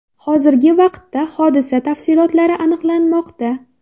Hozirgi vaqtda hodisa tafsilotlari aniqlanmoqda.